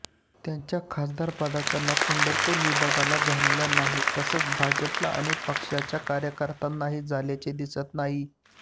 त्यांच्या खासदारपदाचा लाभ पंढरपूर विभागाला झालेला नाही तसाच भाजपला आणि पक्षाच्या कार्यकर्त्यांनाही झाल्याचे दिसत नाही